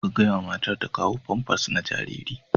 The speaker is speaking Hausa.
Ka gaya wa matar ta kawo famfas na jariri.